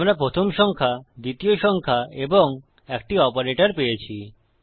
আমরা প্রথম সংখ্যা দ্বিতীয় সংখ্যা এবং একটি অপারেটর পেয়েছি